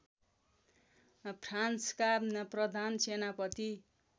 फ्रान्सका प्रधान सेनापति